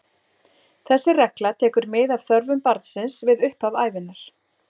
Þessi regla tekur mið af þörfum barnsins við upphaf ævinnar.